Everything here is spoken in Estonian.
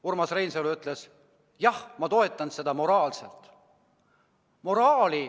Urmas Reinsalu ütles: jah, ma toetan seda moraalselt.